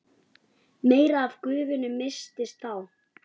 meira af gufunni missist þá.